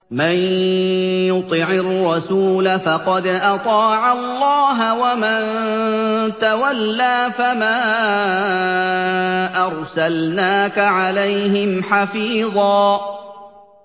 مَّن يُطِعِ الرَّسُولَ فَقَدْ أَطَاعَ اللَّهَ ۖ وَمَن تَوَلَّىٰ فَمَا أَرْسَلْنَاكَ عَلَيْهِمْ حَفِيظًا